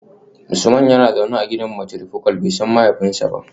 Usman yana zaune a gidan matrifocal, bai san mahaifinsa ba